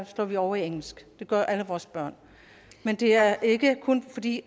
slår vi over i engelsk det gør alle vores børn men det er ikke kun fordi